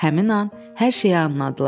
Həmin an hər şeyi anladılar.